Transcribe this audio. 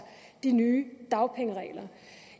de nye dagpengeregler